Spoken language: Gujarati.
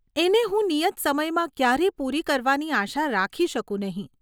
એને હું નિયત સમયમાં ક્યારે પૂરી કરવાની આશા રાખી શકું નહીં.